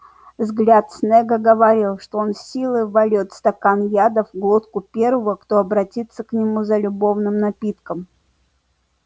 взгляд снегга говорил что он силой вольёт стакан яда в глотку первого кто обратится к нему за любовным напитком